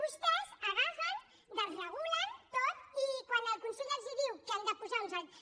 vostès agafen ho desregulen tot i quan el consell els diu que han de posar uns altres